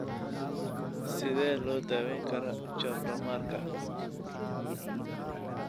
Sidee loo daweyn karaa chordomarka?